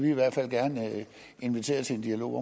i hvert fald gerne invitere til en dialog